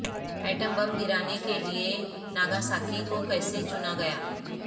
atom bomb گرانے کے لیے ناگاساکی کو کیسے چنا گیا